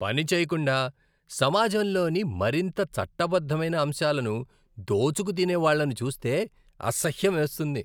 పని చేయకుండా, సమాజంలోని మరింత చట్టబద్ధమైన అంశాలను దోచుకు తినేవాళ్ళను చూస్తే అసహ్యమేస్తుంది.